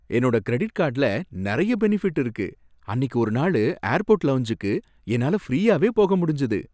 என்னோட கிரெடிட் கார்டுல நிறைய பெனிஃபிட் இருக்கு. அன்னிக்கு ஒரு நாளு ஏர்போர்ட் லவுஞ்சுக்கு என்னால ஃப்ரீயாவே போக முடிஞ்சது.